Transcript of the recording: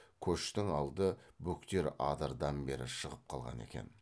көштің алды бөктер адырдан бері шығып қалған екен